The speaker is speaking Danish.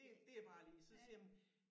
Det det er bare lige så siger jeg jamen